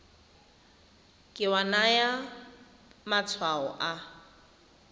ke wa naya matshwao a